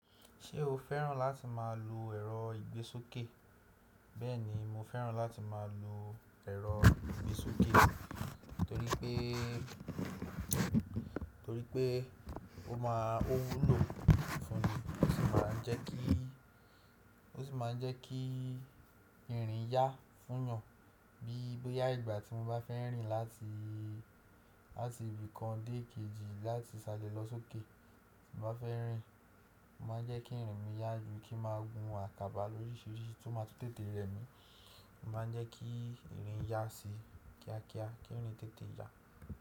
Ṣé o fẹ́ràn láti má a lu ẹ̀rọ ìgbésókè? Bẹ́ẹ̀ni, mo fẹ́ràn láti má a lu ẹ̀rọ ìgbésókè torípé, torípé ó má, ó wúlò fún mi, ó sì má ń jẹ́ kí, ó sì má ń jẹ́ kí ìrìn yá fún yan. Bí bóyá ìgbà tí mo bá fẹ́ rìn láti, láti ibì kan dé kejì láti ṣálẹ̀ lọ sókè. Tí mo bá fẹ́ rìn, ó má ń jẹ́ kí ìrìn mi yá ju kí má gun àkàbà lóríṣìíríṣìí tí ó má ń tún tètè rẹ mi. Ó má ń jẹ́ kí ìrìn yá sí kíá kíá, kí ìrìn tètè yá.